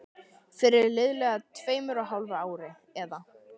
Fyrir liðlega tveimur og hálfu ári, eða